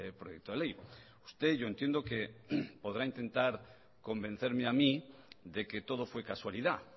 proyecto de ley usted yo entiendo que podrá intentar convencerme a mí de que todo fue casualidad